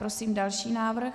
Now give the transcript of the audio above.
Prosím další návrh.